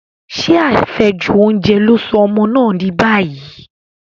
Ṣé àfẹ́jù oúnjẹ ló sọ ọmọ náà dì báyìí?